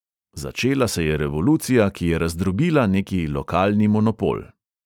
Začela se je revolucija, ki je razdrobila neki lokalni monopol.